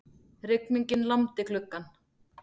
Rigningin lamdi gluggann.